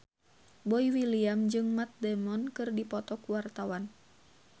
Boy William jeung Matt Damon keur dipoto ku wartawan